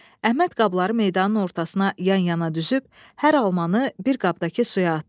Əhməd qabları meydanın ortasına yan-yana düzüb hər almanı bir qabdakı suya atdı.